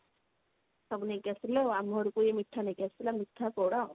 ସବୁ ନେଇକି ଆସିଥିଲେ ଆଉ ଆମ ଘରକୁ ବି ମିଠା ନେଇକି ଆସିଥିଲେ ମିଠା ପୋଡ